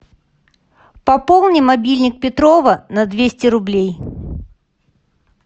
пополни мобильник петрова на двести рублей